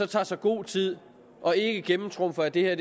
tage sig god tid og ikke gennemtrumfe at det her